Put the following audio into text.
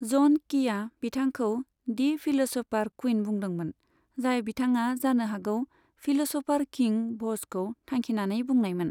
ज'न कीआ बिथांखौ 'the philosopher queen' बुंदोंमोन, जाय बिथाङा जानो हागौ 'फिल'स'फार किं' भ'जखौ थांखिनानै बुंनायमोन।